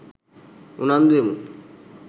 උනන්දු වෙමු.